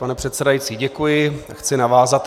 Pane předsedající, děkuji, chci navázat.